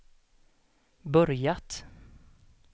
börjat